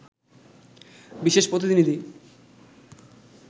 বিশেষ প্রতিনিধি